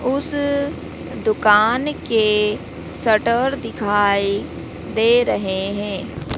उस दुकान के शटर दिखाई दे रहे है।